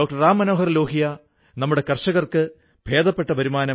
കുടുംബത്തിലെ സ്ഥിതി അനുകൂലമല്ലാതിരുന്നതുകൊണ്ട് തുടർന്ന് പഠിക്കാനായില്ല